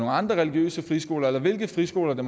andre religiøse friskoler eller hvilke friskoler det